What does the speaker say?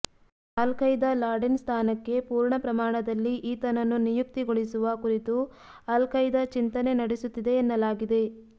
all Qaeda Laden ಸ್ಥಾನಕ್ಕೆ ಪೂರ್ಣ ಪ್ರಮಾಣದಲ್ಲಿ ಈತನನ್ನು ನಿಯುಕ್ತಿಗೊಳಿಸುವ ಕುರಿತು ಆಲ್ ಖೈದಾ ಚಿಂತನೆ ನಡೆಸುತ್ತಿದೆ ಎನ್ನಲಾಗಿದೆ